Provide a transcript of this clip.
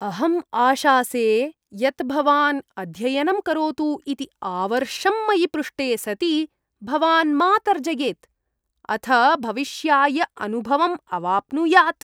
अहम् आशासे यत् भवान् अध्ययनं करोतु इति आवर्षम् मयि पृष्टे सति भवान् मा तर्जयेत्, अथ भविष्याय अनुभवम् अवाप्नुयात्।